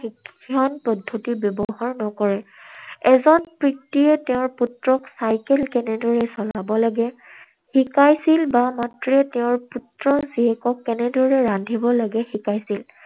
শিক্ষণ পদ্ধতি ব্যৱহাৰ নকৰে। এজন পিতৃয়ে তেওঁৰ পুত্ৰক চাইকেল কেনেকৈ চলাব লাগে, শিকাইছিল বা মাতৃয়ে তেঁওৰ পুত্ৰৰ জীয়েকক কেনেকৈ ৰান্ধিব লাগে শিকাইছিল।